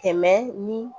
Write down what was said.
Kɛmɛ ni